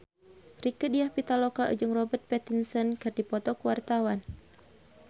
Rieke Diah Pitaloka jeung Robert Pattinson keur dipoto ku wartawan